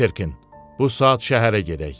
Peterkin, bu saat şəhərə gedək.